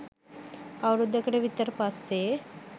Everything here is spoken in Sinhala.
අවුරුද්දකට විතර පස්සේ